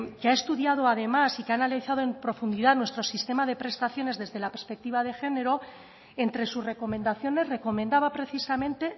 que ha estudiado además y que ha analizado en profundidad nuestro sistema de prestaciones desde la perspectiva de género entre sus recomendaciones recomendaba precisamente